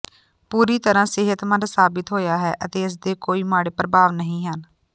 ਪੂਰੀ ਤਰ੍ਹਾਂ ਸਿਹਤਮੰਦ ਸਾਬਤ ਹੋਇਆ ਹੈ ਅਤੇ ਇਸ ਦੇ ਕੋਈ ਮਾੜੇ ਪ੍ਰਭਾਵ ਨਹੀਂ ਹਨ